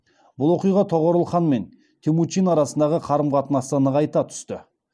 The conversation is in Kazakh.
бұл оқиға тоғорыл хан мен темучин арасындағы қарым қатынасты нығайта түсті